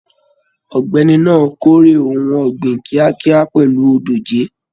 Ọ̀gbẹ́ni náà k'ore ohùn ọ̀gbìn kíákíá pẹlú dòjé.